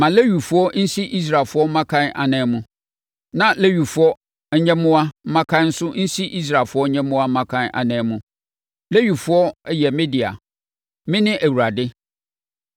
“Ma Lewifoɔ nsi Israelfoɔ mmakan ananmu. Na Lewifoɔ nyɛmmoa mmakan nso nsi Israelfoɔ nyɛmmoa mmakan ananmu. Lewifoɔ yɛ me dea. Mene Awurade.